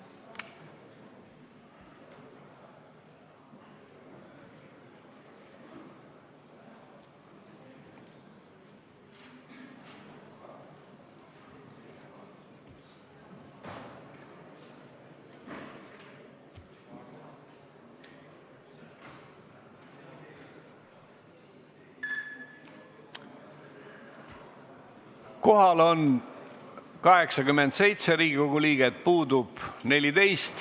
Kohaloleku kontroll Kohal on 87 Riigikogu liiget, puudub 14.